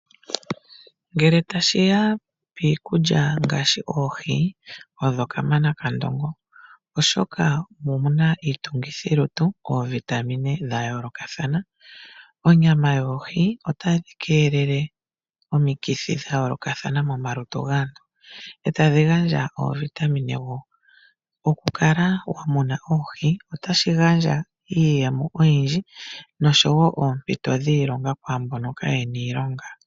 Ngele tashiya piikulya ngaashi oohi, odho ka mana kandongo oshoka omo muna iitungithilutu koovitamine dha yoolokathana. Onyama yoohi otadhi keelele omikithi dha yoolokathana momalutu gaantu, etadhi gandja oovitamine woo . Okukala wa muna oohi otashi gandja iiyemo oyindji nosho woo oompito dhiilonga kwaambono kayena iilonga.